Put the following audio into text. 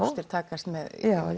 ástir takast með